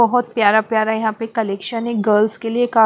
बहुत प्यारा प्यारा यहाँ पे कलेक्शन है गर्ल्स के लिए का --